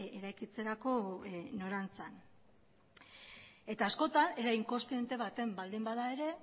eraikitzerako norantzan eta askotan era inkontziente batean baldin bada ere